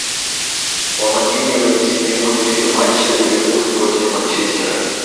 помоги мне найти прямой эфир матча ливерпуль против манчестера